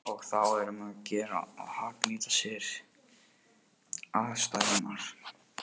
Og þá er um að gera að hagnýta sér aðstæðurnar.